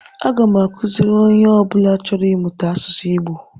Aga m akụziri onye ọ bụla chọrọ ịmụta asụsụ Igbo